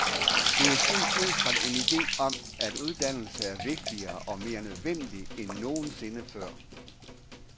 Det er sket ud fra en ide om, at uddannelse er vigtigere og mere nødvendigt end nogensinde før.